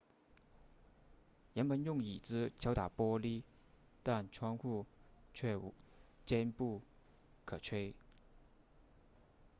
人们用椅子敲打玻璃但窗户却坚不可摧